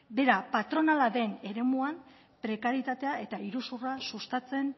bera patronala den eremuan prekarietatea eta iruzurra sustatzen